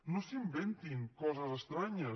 no s’inventin coses estranyes